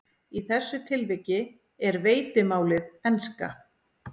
Í þessu tilviki er veitimálið enska.